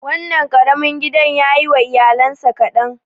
Wannan ƙarami gidan yayi wa iyalansa kaɗan.